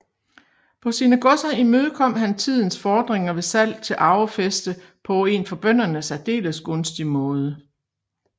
På sine godser imødekom han tidens fordringer ved salg til arvefæste på en for bønderne særdeles gunstig måde